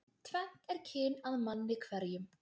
Tvennt er kyn að manni hverjum.